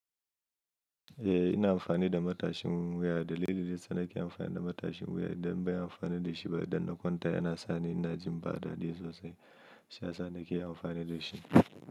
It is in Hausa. Eh ina amfani da matashin wuya dalili dayasa nake amfani da matashin wuya idan banyi amfani da shiba idan na kwanta yana sani ina jin bada dadi sosai. Shiyasa nake amfani dashi.